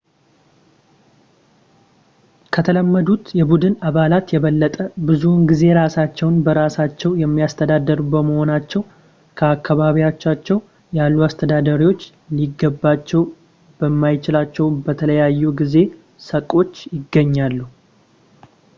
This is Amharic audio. ከተለመዱት የቡድን አባላት የበለጠ ብዙውን ጊዜ ራሳቸውን በራሳቸው የሚያስተዳድሩ በመሆናቸው በአካባቢያቸው ያሉ አስተዳዳሪዎች ሊገባቸው በማይችሏቸው በተለያዩ የጊዜ ሰቆች ይገናኛሉ